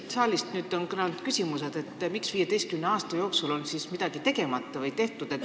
Siit saalist on kõlanud küsimused, miks 15 aasta jooksul on midagi tegemata jäetud.